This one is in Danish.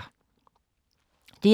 DR2